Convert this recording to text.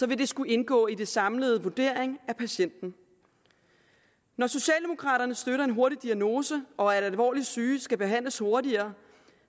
det skulle indgå i den samlede vurdering af patienten når socialdemokraterne støtter en hurtig diagnose og at alvorligt syge skal behandles hurtigere